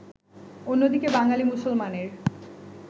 অন্যদিকে বাঙালি মুসলমানের